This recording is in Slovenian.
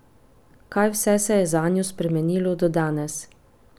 Kaj vse se je zanjo spremenilo do danes?